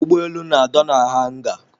Ụgbọelu na-adọ na hanga.